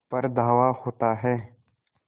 पर धावा होता है